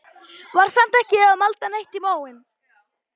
Var samt ekki að malda neitt í móinn.